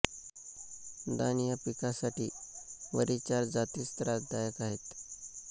धान या पिकासाठी वरील चार जातीच त्रासदायक आहेत